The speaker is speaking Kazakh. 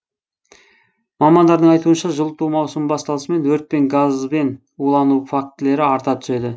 мамандардың айтуынша жылыту маусымы басталысымен өрт пен газбен улану фактілері арта түседі